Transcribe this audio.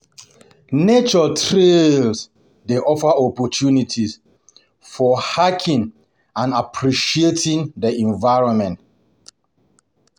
Nature trails dey offer opportunities for hiking and appreciating the environment.